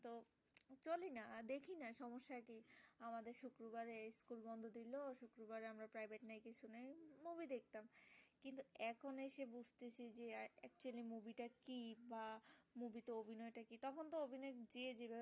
বা movie টা কি তখন তো অভিনয় যে